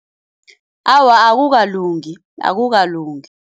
Awa akukalungi, akukalungi.